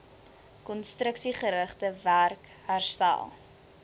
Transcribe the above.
konstruksiegerigte werk herstel